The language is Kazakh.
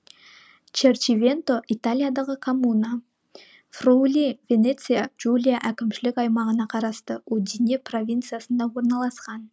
черчивенто италиядағы коммуна фриули венеция джулия әкімшілік аймағына қарасты удине провинциясында орналасқан